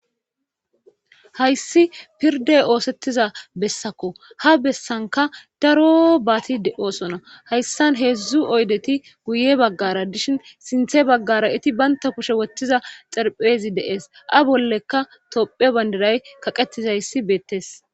hayssi pirde oosettiza bessakko ha bessanka daro baati de7osona hayssan heedzdzu oydeti guye baggara dishin sinthe baggara iti baynta kushe wottiza xerphezi deees a bollekka tophe bandiray kaqetizayssi beettes